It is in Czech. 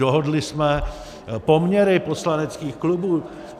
Dohodli jsme poměry poslaneckých klubů.